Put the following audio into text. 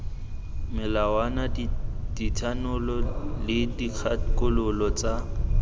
melawana dithanolo le dikgakololo tsa